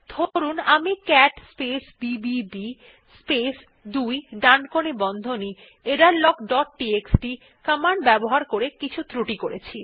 ধরুন আমি cat space B B B space 2 ডানকোণী বন্ধনী এররলগ ডট টিএক্সটি কমান্ড ব্যবহার করে কিছু ক্রুটি করেছি